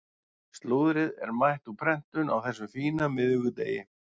Slúðrið er mætt úr prentun á þessum fína miðvikudegi.